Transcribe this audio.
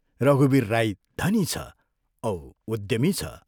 रघुवीर राई धनी छ औ उद्यमी छ।